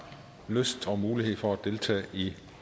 lyst til og mulighed for at deltage i